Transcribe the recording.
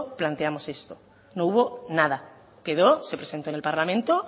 planteamos esto no hubo nada quedó se presentó en el parlamento